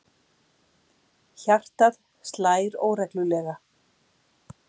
Hjartað slær óreglulega.